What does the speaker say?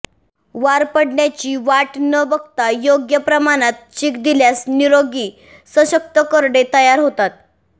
वार पडण्याची वाट न बघता योग्य प्रमाणात चीक दिल्यास निरोगी सशक्त करडे तयार होतात